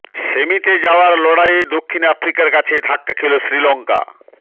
সেমিতে যাওয়ার লড়াইয়ে দক্ষিণ আফ্রিকার কাছে ধাক্কা খেল শ্রীলঙ্কা